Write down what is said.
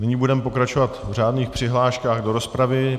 Nyní budeme pokračovat v řádných přihláškách do rozpravy.